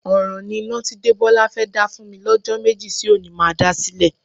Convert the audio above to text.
Ọ̀ràn ni iná tí Débọ́lá fẹ́ dá fún mi lọ́jọ́ méjì sí òní má dá sílẹ̀.